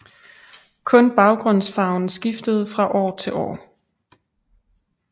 Kun baggrundsfarven skiftede fra år til år